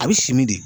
A bɛ simi de